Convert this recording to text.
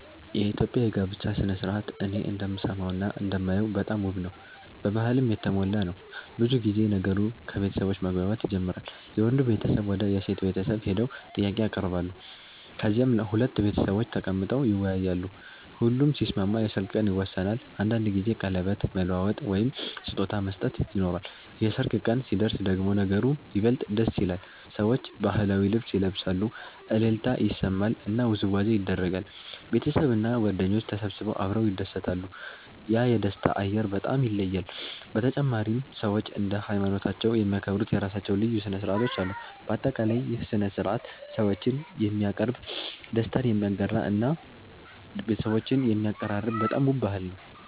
የኢትዮጵያ የጋብቻ ሥነ ሥርዓት እኔ እንደምሰማውና እንደማየው በጣም ውብ ነው፣ በባህልም የተሞላ ነው። ብዙ ጊዜ ነገሩ ከቤተሰቦች መግባባት ይጀምራል፤ የወንዱ ቤተሰብ ወደ የሴት ቤተሰብ ሄደው ጥያቄ ያቀርባሉ፣ ከዚያም ሁለቱ ቤተሰቦች ተቀምጠው ይወያያሉ። ሁሉም ሲስማሙ የሰርግ ቀን ይወሰናል፤ አንዳንድ ጊዜ ቀለበት መለዋወጥ ወይም ስጦታ መስጠት ይኖራል። የሰርግ ቀን ሲደርስ ደግሞ ነገሩ ይበልጥ ደስ ይላል፤ ሰዎች ባህላዊ ልብስ ይለብሳሉ፣ እልልታ ይሰማል እና ውዝዋዜ ይደረጋል። ቤተሰብና ጓደኞች ተሰብስበው አብረው ይደሰታሉ፤ ያ የደስታ አየር በጣም ይለያል። በተጨማሪም ሰዎች እንደ ሃይማኖታቸው የሚያከብሩት የራሳቸው ልዩ ሥነ ሥርዓቶች አሉ። በአጠቃላይ ይህ ሥነ ሥርዓት ሰዎችን የሚያቀርብ፣ ደስታን የሚያጋራ እና ቤተሰቦችን የሚያቀራርብ በጣም ውብ ባህል ነው።